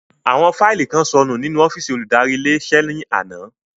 Àwọn fáílì kan sọnù nínú ọ́fìsì olùdarí ilé iṣẹ́ ní àná